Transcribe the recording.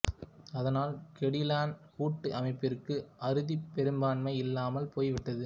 அதனால் கெடிலான் கூட்டு அமைப்பிற்கு அறுதிப் பெரும்பான்மை இல்லாமல் போய் விட்டது